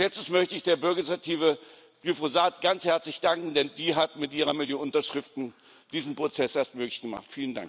Als Letztes möchte ich der Bürgerinitiative Glyphosat ganz herzlich danken, denn sie hat mit ihrer Million Unterschriften diesen Prozess erst möglich gemacht.